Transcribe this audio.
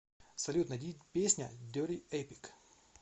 салют найди песня дерти эпик